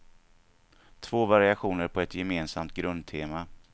Två variationer på ett gemensamt grundtema.